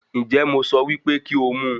Ǹjẹ́ mo sọ wípé kí ó mu